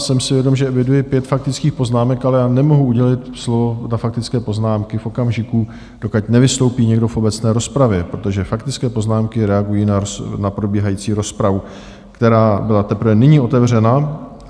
Jsem si vědom, že eviduji pět faktických poznámek, ale já nemohu udělit slovo na faktické poznámky v okamžiku, dokud nevystoupí někdo v obecné rozpravě, protože faktické poznámky reagují na probíhající rozpravu, která byla teprve nyní otevřena.